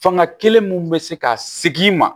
Fanga kelen mun bɛ se ka segin ma